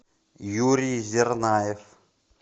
юрий зернаев